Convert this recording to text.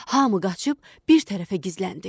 Hamı qaçıb bir tərəfə gizləndi.